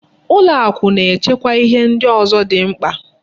Ụlọakụ na-echekwa ihe ndị ọzọ dị mkpa.